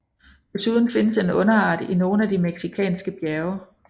Desuden findes en underart i nogle af de mexikanske bjerge